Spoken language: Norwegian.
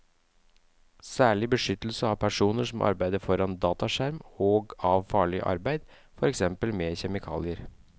Særlig beskyttelse av personer som arbeider foran dataskjerm og av farlig arbeid, for eksempel med kjemikalier.